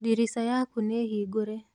Dirica yakú níhingũre.